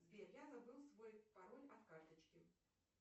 сбер я забыл свой пароль от карточки